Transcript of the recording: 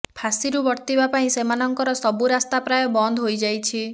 ଫାଶିରୁ ବର୍ତ୍ତିବା ପାଇଁ ସେମାନଙ୍କର ସବୁ ରାସ୍ତା ପ୍ରାୟ ବନ୍ଦ ହୋଇ ଯାଇଛି